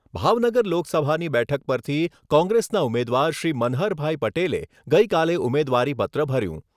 ભાવનગર લોકસભાની બેઠક પરથી કોંગ્રેસના ઉમેદવાર શ્રી મનહરભાઈ પટેલે ગઈકાલે ઉમેદવારીપત્ર ભર્યું.